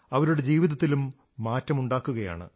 അവരുടെ ജീവിതത്തിലും മാറ്റമുണ്ടാക്കുകയാണ്